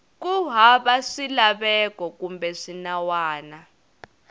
ku hava swilaveko kumbe swinawana